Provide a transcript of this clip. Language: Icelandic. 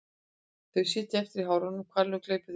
Þau sitja eftir í hárunum og hvalurinn gleypir þau síðan.